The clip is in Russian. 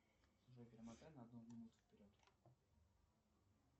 джой перемотай на одну минуту вперед